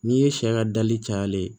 N'i ye sɛ ka dali cayalen ye